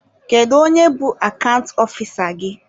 Kedu onye bụ akant ọfisa gị?